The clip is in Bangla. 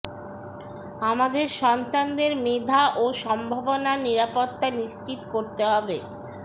আমাদের সন্তানদের মেধা ও সম্ভাবনার নিরাপত্তা নিশ্চিত করতে হবে